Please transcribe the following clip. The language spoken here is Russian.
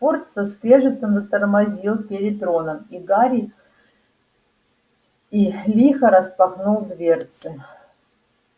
форд со скрежетом затормозил перед роном и гарри и лихо распахнул дверцы